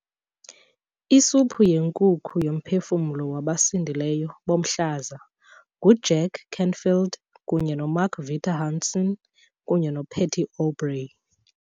Isuphu yenkukhu yoMphefumlo wabasindileyo boMhlaza nguJack Canfield kunye noMark Victor Hansen kunye noPatty Aubery